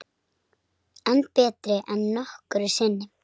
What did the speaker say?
Enn betri en nokkru sinni